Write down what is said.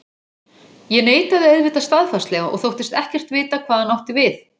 Ég neitaði auðvitað staðfastlega og þóttist ekkert vita hvað hann átti við.